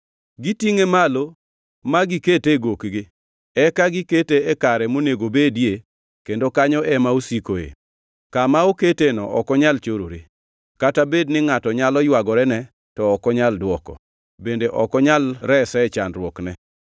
Gitingʼe malo ma gikete e gokgi; eka gikete e kare monego obedie kendo kanyo ema osikoe. Kama oketeno ok onyal chorore. Kata bed ni ngʼato nyalo ywagorene to ok onyal dwoko; bende ok onyal rese e chandruokne.